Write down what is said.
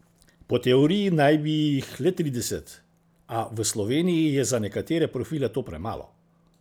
Po teoriji naj bi jih le trideset, a v Sloveniji je za nekatere profile to premalo.